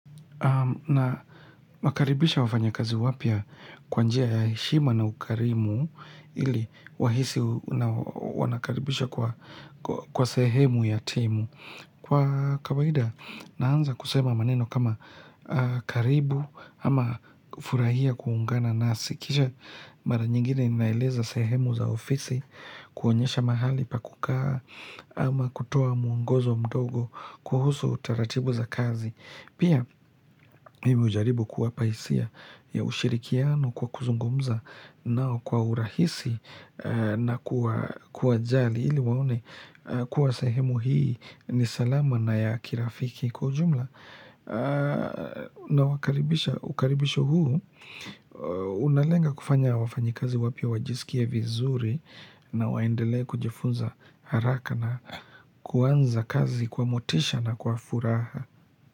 Na wakaribisha wafanya kazi wapya kwanjia ya heshima na ukarimu ili wahisi wanakaribishwa kwa sehemu ya timu. Kwa kawaida naanza kusema maneno kama karibu ama furahia kuungana nasi. Kisha mara nyingine ninaeleza sehemu za ofisi, kuonyesha mahali pakukaa ama kutoa muongozo mdogo kuhusu utaratibu za kazi. Pia mimi hujaribu kuwapa hisia ya ushirikiano kwa kuzungumza nao kwa urahisi na kuwajali ili waone kuwa sehemu hii ni salama na ya kirafiki kwa ujumla na wakaribisha ukaribisho huu unalenga kufanya wafanyi kazi wapya wajisikie vizuri na waendelee kujifunza haraka na kuanza kazi kwa motisha na kwa furaha.